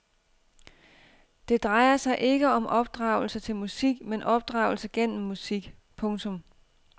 Det drejer sig ikke om opdragelse til musik men opdragelse gennem musik. punktum